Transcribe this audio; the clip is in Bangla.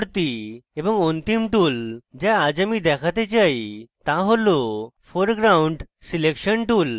পরবর্তী এবং অন্তিম tool the আজ আমি দেখতে চাই the tool foreground selection tool